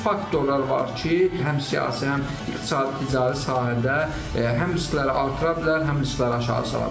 Çoxlu faktorlar var ki, həm siyasi, həm iqtisadi, ticari sahədə həm riskləri artıra bilər, həm riskləri aşağı sala bilər.